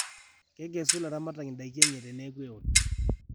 kekesu ilaramatak in'daikii enye teneeku eoto